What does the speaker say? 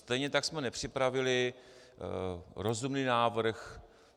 Stejně tak jsme nepřipravili rozumný návrh.